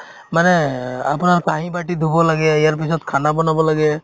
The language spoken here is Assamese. মানে এহ্ আপোনাৰ কাঁহী-বাতি ধুব লাগে ইয়াৰ পিছত khana বনাব লাগে